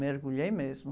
Mergulhei mesmo.